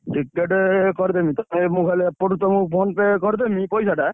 Ticket କରିଦେବି।